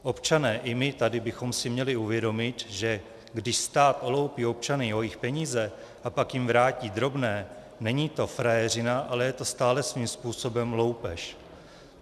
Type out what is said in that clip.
Občané i my tady bychom si měli uvědomit, že když stát oloupí občany o jejich peníze a pak jim vrátí drobné, není to frajeřina, ale je to stále svým způsobem loupež.